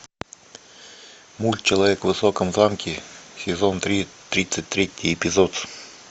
мульт человек в высоком замке сезон три тридцать третий эпизод